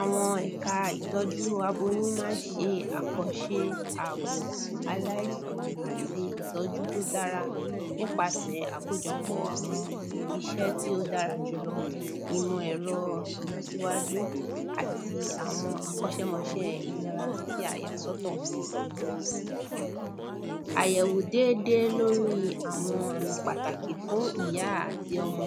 àwọn ẹ̀ka ìtọ́jú aboyún ma n ṣe àkànṣe àbò aláìsàn àti ìtọ́jú tó dára àkójọpọ̀ àwọn iṣẹ́ tí ó dára jùlọ ìmọ̀ ẹ̀rọ ìlọsíwájú àti akọ́ṣẹ́mọṣẹ́ ìlera tí a yà sọ́tọ̀ àyẹ̀wò dédé lórí àwọn àmì pàtàkì fún ìyá àti ọmọ